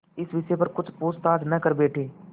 इस विषय पर कुछ पूछताछ न कर बैठें